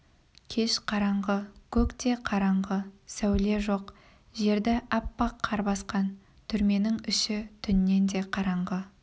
кеш қараңғы көк те қараңғы сәуле жоқ жерді аппақ қар басқан түрменің іші түннен де қараңғы